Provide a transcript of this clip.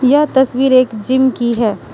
यह तस्वीर एक जिम की है।